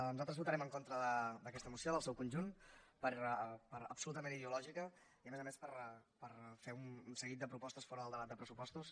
nosaltres votarem en contra d’aquesta moció del seu conjunt per absolutament ideològica i a més a més per fer un seguit de propostes fora del debat de pressupostos